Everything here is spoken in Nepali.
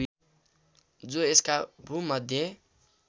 जो यसका भूमध्य